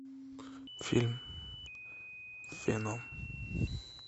фильм веном